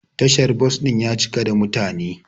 Tashar bos din ya cika da mutane.